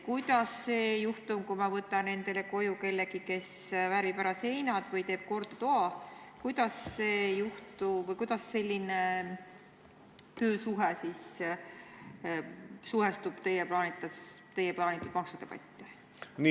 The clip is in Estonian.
Kuidas selline töösuhe, kui ma kutsun endale koju kellegi, kes värvib seinad ära või teeb toa korda, sobitub teie plaanitud maksudebatti?